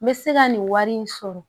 N bɛ se ka nin wari in sɔrɔ